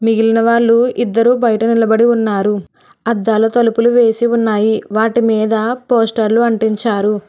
మిగిలిన వాళ్ళు ఇద్దరు బయట నిలబడి ఉన్నారు అద్దాలు తలుపులు వేసి ఉన్నాయి వాటి మీద పోస్టర్లు అంటించారు.